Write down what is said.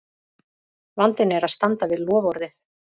Vandinn er að standa við loforðið!